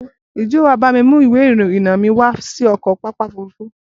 Ǹjẹ́ wà á bá mi mú ìwé-ìrìnnà mi wá sí pápá ọkọ̀-òfurufú?